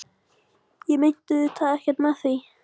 Ég meinti auðvitað ekkert með því.